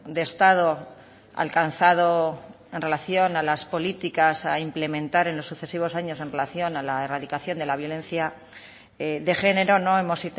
de estado alcanzado en relación a las políticas a implementar en los sucesivos años en relación a la erradicación de la violencia de género no hemos